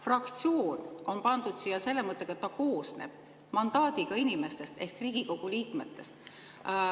Fraktsioon on pandud siia selle mõttega, et see koosneb mandaadiga inimestest ehk Riigikogu liikmetest.